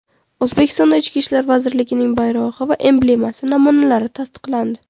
O‘zbekistonda Ichki ishlar vazirligining bayrog‘i va emblemasi namunalari tasdiqlandi.